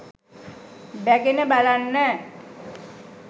බැගෙන බලන්න